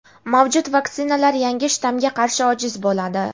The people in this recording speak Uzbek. Mavjud vaksinalar yangi shtammga qarshi ojiz bo‘ladi.